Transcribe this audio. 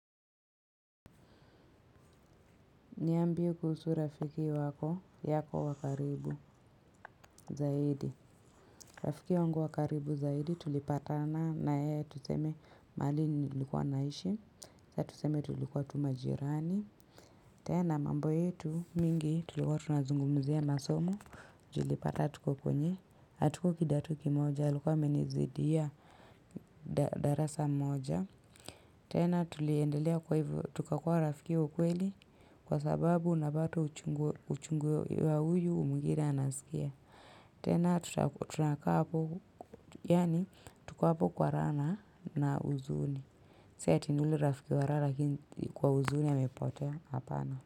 Niambie kuhusu rafiki wako yako wa karibu zaidi. Rafiki wangu wa karibu zaidi tulipatana nae tuseme mahali nilikuwa naishi. Sa tuseme tulikuwa tu majirani. Tena mambo yetu mingi tulikuwa tunazungumzia masomo. Ju ilipata tuko kwenye. Hatuko kidato kimoja, alikuwa amenizidia darasa moja. Tena tuliendelea kwa hivyo, tukakuwa rafiki wa ukweli kwa sababu unapata uchungu wa huyu mwingine anasikia. Tena tunakaa hapo, yaani tuko hapo kwa raha na huzuni. Si ati ni yule rafiki wa raha lakini kwa huzuni amepotea hapana.